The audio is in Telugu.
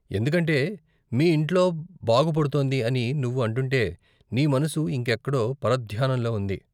ఎందుకంటే, మీ ఇంట్లో బాగుపడుతోంది అని నువ్వు అంటుంటే, నీ మనసు ఇంకెక్కడో పరధ్యానంలో ఉంది.